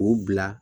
K'u bila